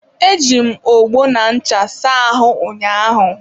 Eji m ọgbọ na ncha saa ahụ ụnyaahụ.